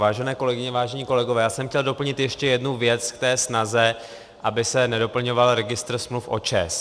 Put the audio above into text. Vážené kolegyně, vážení kolegové, já jsem chtěl doplnit ještě jednu věc k té snaze, aby se nedoplňoval registr smluv o ČEZ.